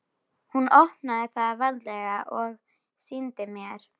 Hún opnaði það varlega og sýndi mér.